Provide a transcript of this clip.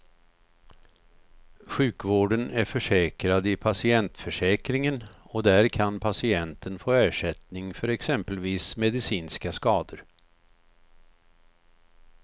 Sjukvården är försäkrad i patientförsäkringen och där kan patienten få ersättning för exempelvis medicinska skador.